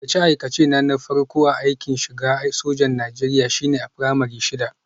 Aikace-aikacena na farko na shiga aikin sojan Najeriya shine a firamare shida